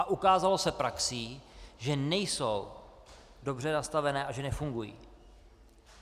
A ukázalo se praxí, že nejsou dobře nastavené a že nefungují.